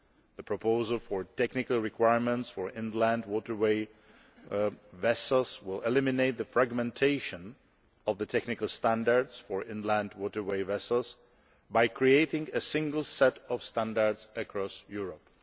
The proposal for technical requirements for inland waterway vessels will eliminate the fragmentation of technical standards for inland waterway vessels by creating a single set of standards across Europe.